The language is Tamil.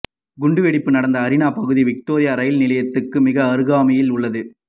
குண்டுவெடுப்பு நடந்த அரீனா பகுதி விக்டோரியா ரயில் நிலையத்துக்கு மிக அருகாமையில் உள்ளது